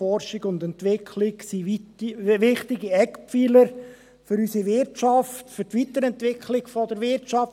Forschung und Entwicklung sind wichtige Eckpfeiler für unsere Wirtschaft, für die Weiterentwicklung der Wirtschaft.